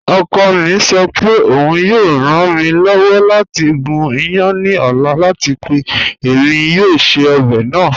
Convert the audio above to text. Ọkọ mi sọ pé ọun yọọ ran mi lọ́wọ́ lati gún ìyán ní ọ̀la àti pé èmi yọọ ṣẹ̀ ọbẹ naa.